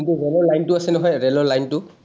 যোনটো ৰেলৰ লাইনটো আছে নহয়, ৰেলৰ লাইনটো।